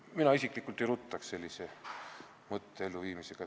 Mina isiklikult ei ruttaks selle mõtte elluviimisega.